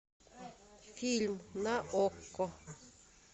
фильм на окко